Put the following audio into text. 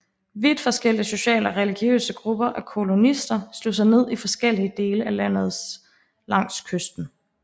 Vidt forskellige sociale og religiøse grupper af kolonister slog sig ned i forskellige dele af landet langs kysten